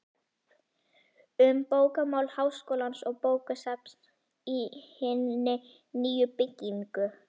Um bókamál Háskólans og bókasafn í hinni nýju byggingu